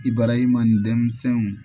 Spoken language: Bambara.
Ibarahima ni denmisɛnw